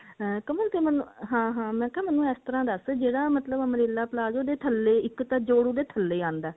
ਕਮਲ ਤੂੰ ਮੈਨੂੰ ਹਾਂ ਹਾਂ ਮੈਂ ਕਿਹਾ ਮੈਨੂੰ ਇਸ ਤਰ੍ਹਾਂ ਦੱਸ ਜਿਹੜਾ ਮਤਲਬ umbrella palazzo ਦੇ ਥੱਲੇ ਇੱਕ ਤਾਂ ਜੋੜ ਉਹਦੇ ਥੱਲੇ ਆਂਦਾ